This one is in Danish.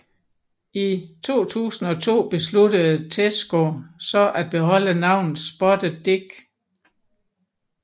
I 2002 besluttede Tesco så at beholde navnet Spotted Dick